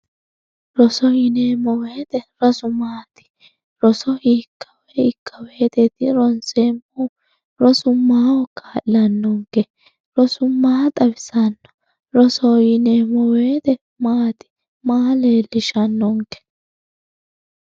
roso yineemmo woyiite rosu maati roso hiitto hiikkawoyiiteeti ronseemmohu rosu maaho kaa'lanonke rosu maa xawisanno rosoho yineemmo woyiite maati maa leellishshannonke